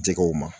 Jɛgɛw ma